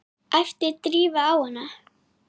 æpti Drífa á hana.